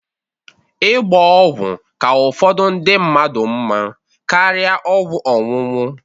Ịgba ọgwụ ka ụfọdụ ndị mmadụ mma karia ọgwụ ọnụnụ.